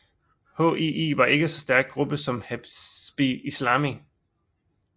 HII var ikke en så stærk gruppe som Hezbi Islami